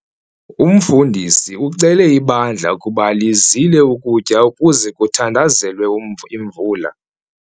Umfundisi ucele ibandla ukuba lizile ukutya ukuze kuthandazelwe imvula.